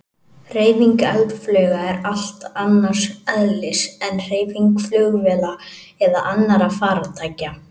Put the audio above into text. Hreyfing eldflauga er allt annars eðlis en hreyfing flugvéla eða annarra farartækja.